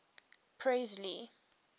presley